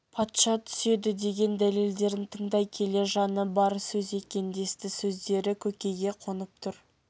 патша түседі деген дәлелдерін тыңдай келе жаны бар сөз екен десті сөздері көкейге қонып тұр